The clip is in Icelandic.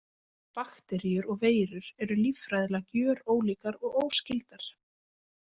Bakteríur og veirur eru líffræðilega gjörólíkar og óskyldar.